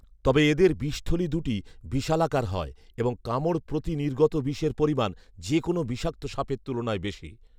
তবে এদের বিষথলি দুটি বিশালাকার হয় এবং কামড় প্রতি নির্গত বিষের পরিমাণ, যে কোনো বিষাক্ত সাপের তুলনায় বেশি